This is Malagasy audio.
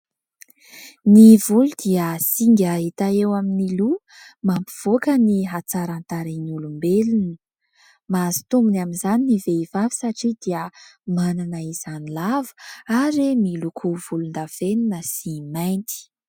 Ny volo dia singa hita eo amin'ny loha mampivoaka ny hatsaran-tarehy ny olombelona, mahazo tombony amin'izany ny vehivavy satria dia manana izany lava ary miloko volondavenona sy mainty.